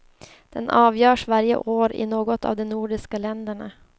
Den avgörs varje år i något av de nordiska länderna.